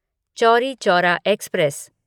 Chauri Chaura express